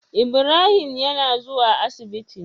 Ibrahim yAna zuwa asibiti